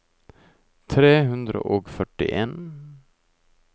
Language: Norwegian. tre hundre og førtien